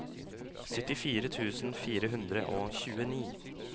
syttifire tusen fire hundre og tjueni